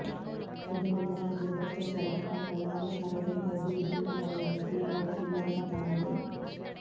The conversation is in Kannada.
ಇದರಿಂದ ರಾಜ್ಯದ ಭ್ರಷ್ಟಾಚಾರ ಪ್ರಕರಣಗಳು ಹಾಗೂ ಸಾರ್ವಜನಿಕರ ದೂರು ದುಮ್ಮಾನಗಳನ್ನು ಕೇಳುವವರಿಲ್ಲದಂತಾಗಿದೆ